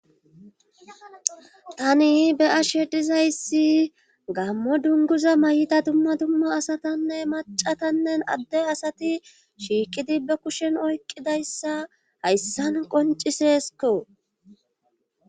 tani beyashe dizayssi gammo dunguza mayita dumma dumma asatanne macatannen adde asati shiiqidi ba kushen oykidayssa hayssan qoncisesko.